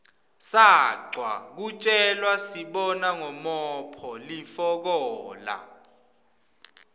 sacwa kutjelasibona ngomophg lifikola